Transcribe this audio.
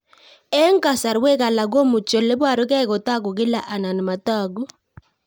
Eng' kasarwek alak komuchi ole parukei kotag'u kila anan matag'u